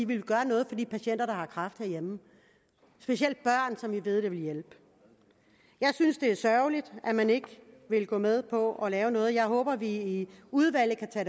ville gøre noget for de patienter der har kræft herhjemme specielt børn som vi ved det vil hjælpe jeg synes det er sørgeligt at man ikke vil gå med på at lave noget jeg håber vi i udvalget kan tage